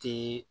Te